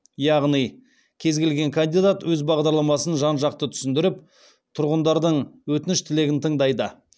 яғни кез келген кандидат өз бағдарламасын жан жақты түсіндіріп тұрғындардың өтініш тілегін тыңдайды